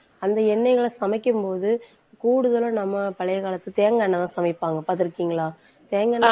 அந்த எண்ணெய்ல சமைக்கும்போது, கூடுதலா நம்ம பழைய காலத்து தேங்காய் எண்ணெய்தான் சமைப்பாங்க. பார்த்திருக்கீங்களா தேங்காய் எண்ணெ~